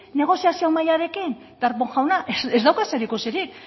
negoziazio mahairekin darpón jauna ez dauka zer ikusirik